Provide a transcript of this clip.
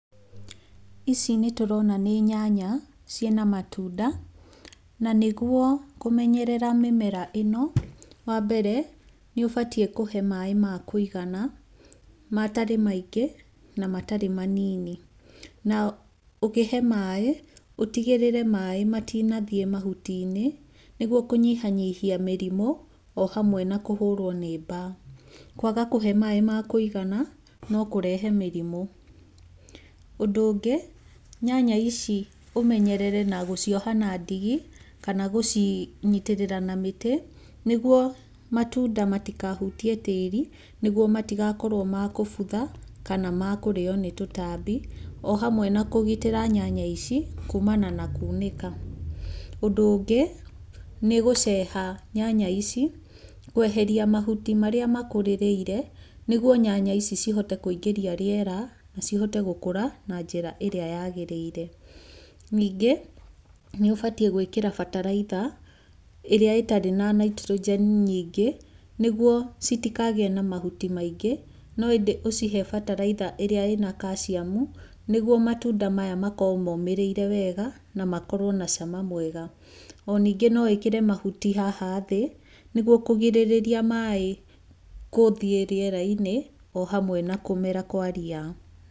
Ici nĩ tũrona nĩ nyanya ciĩna matunda. Na nĩguo kũmenyerera mĩmera ĩno, nĩ ũbatiĩ kũhe maaĩ ma kũigana matarĩ maingĩ na matarĩ manini. Na ũkĩhe maaĩ ũtigĩrĩre maaĩ matinathiĩ mahuti-inĩ nĩguo kũnyihanyihia mĩrimũ o hamwe na kũhũrwo nĩ mbaa. Kwaga kũhe maaĩ ma kũigana no kũrehe mĩrimũ. Ũndũ ũngĩ, nyanya ici ũmenyerere na gũcioha na ndigi kana gũcinyitĩrĩra na mĩtĩ, nĩguo matunda matikahutie tĩĩri nĩguo matigakorwo makũbutha kana makũrĩo nĩ tũtambi, o hamwe na kũgitĩra nyanya ici kuumana na kunĩka. Ũndũ ũngĩ nĩ gũceha nyanya ici kweheria mahuti marĩa makũrĩrĩire nĩguo nyanya ici cihote kũingĩria rĩera na cihote gũkũra na njĩra ĩrĩa yaagĩrĩire. Ningĩ nĩ ũbatiĩ gwĩkĩra bataraitha ĩrĩa ĩtarĩ na nitrogen nyingĩ nĩguo citikagĩe na mahuti maingĩ, no ĩndĩ ũcihe bataraitha ĩrĩa ĩna calcium nĩguo matunda maya makorwo momĩrĩire wega na makorwo na cama mwega. O ningĩ no wĩkĩre mahuti haha thĩ nĩguo kũgirĩrĩria maaĩ kũthiĩ rĩera-inĩ o hamwe na kũmera kwa ria.